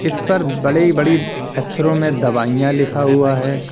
इस पर बड़ी बड़ी अक्षरों में दवाइयां लिखा हुआ है।